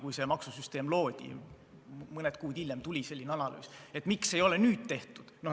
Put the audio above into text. Kui see maksusüsteem loodi, siis mõni kuu hiljem tuli selline analüüs, miks ei ole nüüd seda tehtud?